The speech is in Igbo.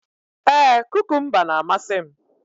Ee, kukumba na-amasị m